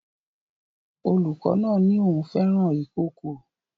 Olùkọ́ náà ní òun fẹ́ràn ikòkò